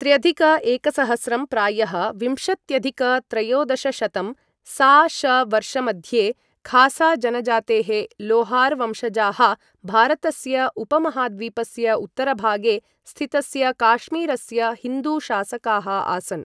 त्र्यधिक एकसहस्रं प्रायः विंशत्यधिक त्रयोदशशतं सा.श. वर्षमध्ये खासा जनजातेः लोहार वंशजाः भारतस्य उपमहाद्वीपस्य उत्तरभागे स्थितस्य काश्मीरस्य हिन्दु शासकाः आसन्।